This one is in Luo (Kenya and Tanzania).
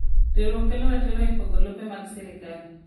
Riwruok kelo ratiro epogo lope mag sirkal.